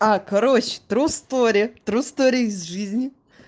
а короче тру стори тру стори из жизни